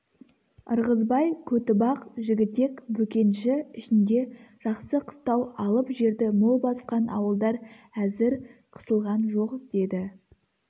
ырғызбай көтібақ жігітек бөкенші ішінде жақсы қыстау алып жерді мол басқан ауылдар әзір қысылған жоқ деді